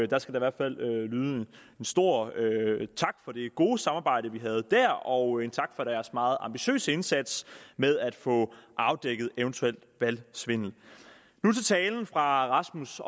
der skal i hvert fald lyde en stor tak for det gode samarbejde vi havde der og en tak for deres meget ambitiøse indsats med at få afdækket eventuel valgsvindel nu til talen fra rasmus